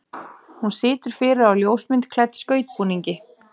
Hún situr fyrir á ljósmynd klædd skautbúningi.